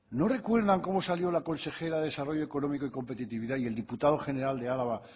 no recuerdan como salió la consejera de desarrollo económico y competitividad y el diputado general de araba